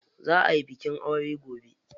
Za ayi bikin aure gobe.